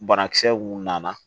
Banakisɛ mun nana